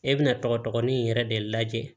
E bɛna tɔgɔ dɔgɔnin in yɛrɛ de lajɛ